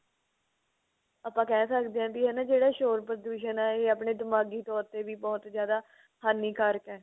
ਆਪਾਂ ਕਹਿ ਸਕਦੇ ਹਾਂ ਵੀ ਹਨਾ ਜਿਹੜਾ ਸ਼ੋਰ ਪ੍ਰਦੂਸ਼ਨ ਏ ਇਹ ਆਪਣੇ ਦਿਮਾਗੀ ਤੋਰ ਤੇ ਵੀ ਬਹੁਤ ਜਿਆਦਾ ਹਾਨਿਕਾਰਕ ਏ